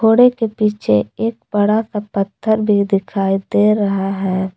के पीछे एक बड़ा सा पत्थर दिखाई दे रहा है।